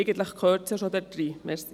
Eigentlich gehört es dort hinein.